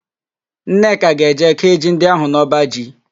Nneka ga-eje kéé ji ndị ahụ n'ọbaji.